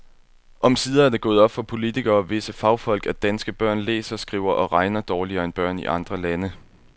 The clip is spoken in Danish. Omsider er det gået op for politikere og visse fagfolk, at danske børn læser, skriver og regner dårligere end børn i andre lande.